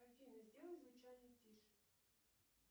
афина сделай звучание тише